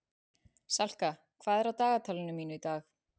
Salka, hvað er á dagatalinu mínu í dag?